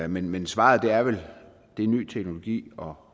men men svaret er vel ny teknologi og